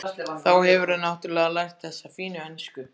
Þá hefurðu náttúrlega lært þessa fínu ensku!